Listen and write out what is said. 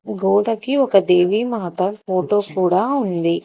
గోడకి ఒక దేవిమాత ఫోటో కూడా ఉంది.